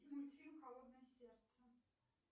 мультфильм холодное сердце